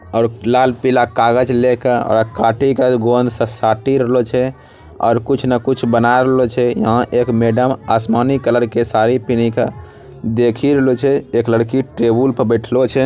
और लाल पीला कागज ले के और ओकरा काटी के गोंद से साटी रहलो छे और कुछ न कुछ बना रहलो छे | यहाँ एक मैडम आसमानी कलर के साड़ी पेनही के देखि रहलो छे | एक लड़की टेबल पर बैठलो छे |